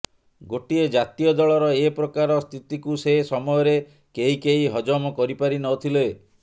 ଗୋଟିଏ ଜାତୀୟ ଦଳର ଏପ୍ରକାର ସ୍ଥିତିକୁ ସେ ସମୟରେ କେହି କେହି ହଜମ କରିପାରିନଥିଲେ